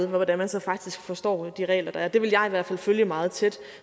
hvordan man så faktisk forstår de regler der er det vil jeg i hvert fald følge meget tæt